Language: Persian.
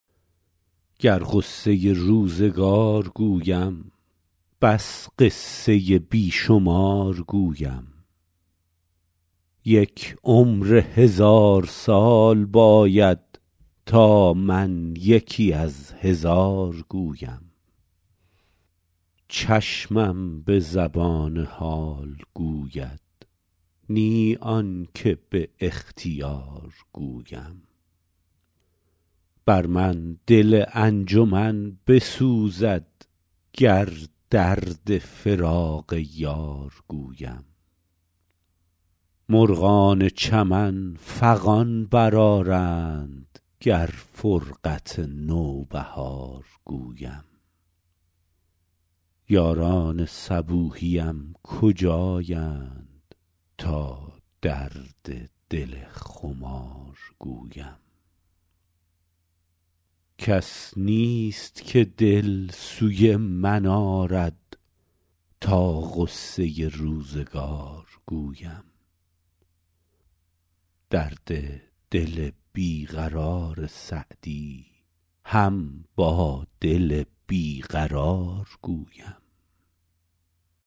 گر غصه روزگار گویم بس قصه بی شمار گویم یک عمر هزار سال باید تا من یکی از هزار گویم چشمم به زبان حال گوید نی آن که به اختیار گویم بر من دل انجمن بسوزد گر درد فراق یار گویم مرغان چمن فغان برآرند گر فرقت نوبهار گویم یاران صبوحیم کجایند تا درد دل خمار گویم کس نیست که دل سوی من آرد تا غصه روزگار گویم درد دل بی قرار سعدی هم با دل بی قرار گویم